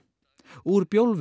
úr